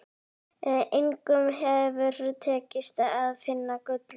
Engum hefur tekist að finna gullið.